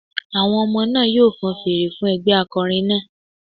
Àwọn ọmọ náà yóò fan fèrè fún ẹgbẹ́ akọrin náà